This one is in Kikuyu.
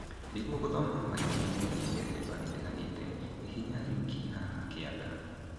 Nĩguo gũthoma maingĩ megiĩ mĩthemba ĩtiganĩte, hihinya rinki haha kĩanda